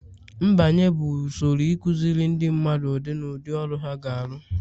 mbanye bụ usoro ịkụziri ndị mmadụ ụdị na ụdị ọrụ ha ga-arụ